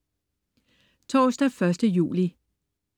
Torsdag den 1. juli